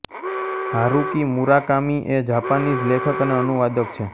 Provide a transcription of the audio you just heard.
Haruki Murakami એ Japanese લેખક અને અનુવાદક છે